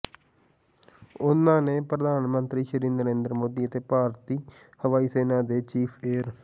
ਉਹਨਾਂ ਨੇ ਪ੍ਰਧਾਨ ਮੰਤਰੀ ਸ੍ਰੀ ਨਰਿੰਦਰ ਮੋਦੀ ਅਤੇ ਭਾਰਤੀ ਹਵਾਈ ਸੈਨਾ ਦੇ ਚੀਫ ਏਅਰ